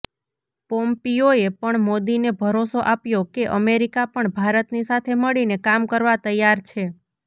પોમ્પિયોએ પણ મોદીને ભરોંસો આપ્યો કે અમેરિકા પણ ભારતની સાથે મળીને કામ કરવા તૈયાર છે